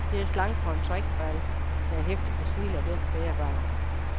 Det er slang for en trackball der hæftes på siden af den bærbare.